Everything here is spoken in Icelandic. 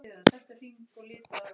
Þarftu að fá þau?